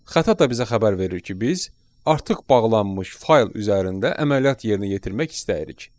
Xəta da bizə xəbər verir ki, biz artıq bağlanmış fayl üzərində əməliyyat yerinə yetirmək istəyirik.